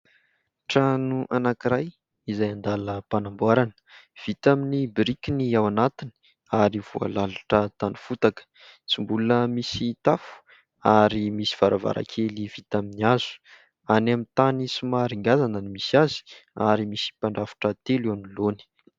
Trano anankiray izay andala mpanamboarana : vita amin'ny biriky ny ao anatiny ary voalalitra tany fotaka, tsy mbola misy tafo ary misy varavarankely vita amin'ny hazo, any amin'ny tany somary ngazana ny misy azy ary misy mpandrafitra telo eo anoloany.